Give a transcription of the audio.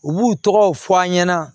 U b'u tɔgɔw fɔ an ɲɛna